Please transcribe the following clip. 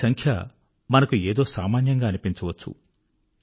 ఈ సంఖ్య మనకు ఏదో సామాన్యంగా అనిపించవచ్చు